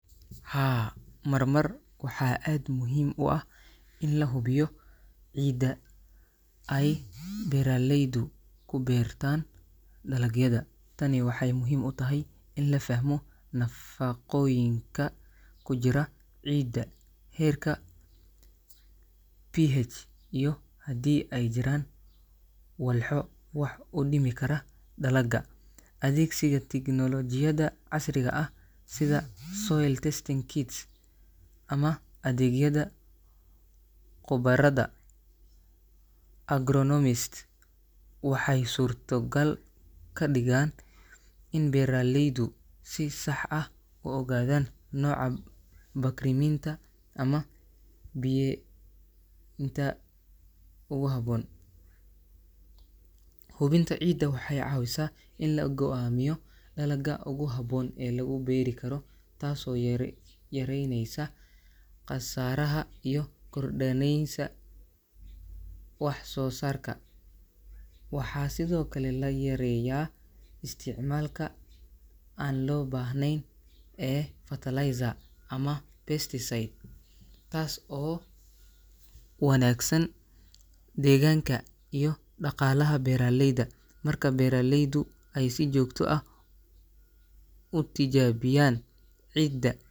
Haa, marmar waxaa aad muhiim u ah in la hubiyo ciidda ay beeraleydu ku beertaan dalagyada. Tani waxay muhiim u tahay in la fahmo nafaqooyinka ku jira ciidda, heerka pH, iyo haddii ay jiraan walxo wax u dhimi kara dalagga. Adeegsiga tignoolajiyada casriga ah sida soil testing kits ama adeegyada khubarada agronomist waxay suurtogal ka dhigaan in beeraleydu si sax ah u ogaadaan nooca bakriminta ama biyenta ugu habboon. Hubinta ciidda waxay caawisaa in la go'aamiyo dalagga ugu habboon ee lagu beeri karo, taasoo yareyneysa khasaaraha iyo korda neysa wax soo saarka. Waxaa sidhoo kale la yareeyaa isticmaalka aan loo baahnayn ee fertilizer ama pesticide, taas oo wanaagsan deegaanka iyo dhaqaalaha beeraleyda. Marka beeraleydu ay si joogto ah u tijaabiyaan ciidda.